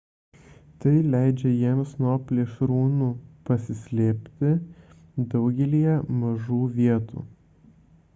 tai leidžia jiems nuo plėšrūnų pasislėpti daugelyje mažų vietų